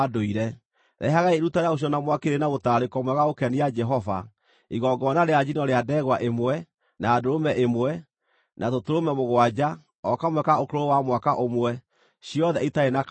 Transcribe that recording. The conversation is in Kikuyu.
Rehagai iruta rĩa gũcinwo na mwaki rĩrĩ mũtararĩko mwega wa gũkenia Jehova, igongona rĩa njino rĩa ndegwa ĩmwe, na ndũrũme ĩmwe, na tũtũrũme mũgwanja o kamwe ka ũkũrũ wa mwaka ũmwe, ciothe itarĩ na kaũũgũ.